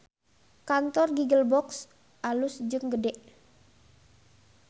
Kantor Giggle Box alus jeung gede